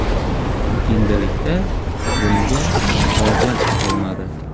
Endilikda bunga hojat qolmadi.